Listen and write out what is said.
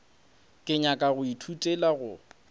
ke nyaka go ithutela go